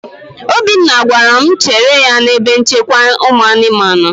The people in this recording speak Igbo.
Obinna gwara m chere ya n'ebe nchekwa ụmụ anụmanụ.